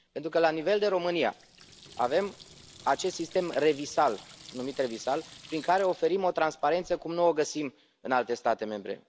Pentru că la nivel de România avem acest sistem numit ReviSal, prin care oferim o transparență cum nu o găsim în alte state membre.